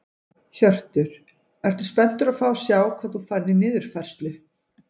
Hjörtur: Ertu spenntur að fá að sjá hvað þú færð í niðurfærslu?